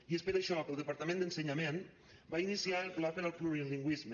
i és per això que el departament d’ensenyament va iniciar el pla per al plurilingüisme